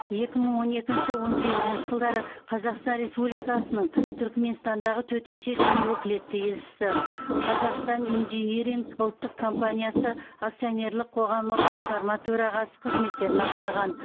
екі мың он екінші он сегізінші жылдары қазақстан республикасының түрікменстандағы төтенше және өкілетті елшісі қазақстан инжиниринг ұлттық компаниясы акционерлік қоғамы басқарма төрағасы қызметтерін атқарған